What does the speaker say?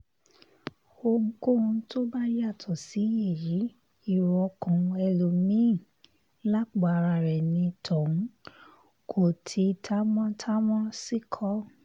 ohunkóhun tó bá yàtọ̀ sí èyí èrò ọkàn ẹlòmí-ín lápò ara rẹ̀ ni tòun kò ti támán támán sí kọ́